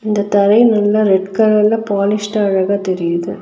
இந்த தரை நல்லா ரெட் கலர்ல பாலிஷ்டா அழகா தெரியிது.